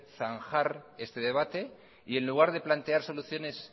zanjar este debate y en lugar de plantear soluciones